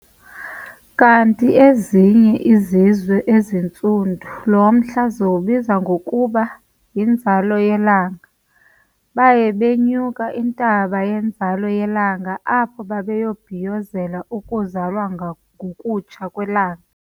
Ukanti ezinye izizwe ezintsundu lomhla ziwubiza ngokuba yinzalo yelanga, baye banyuke intaba yenzalo yelanga apho bebhiyozela ukuzalwa ngokutsha kwelanga.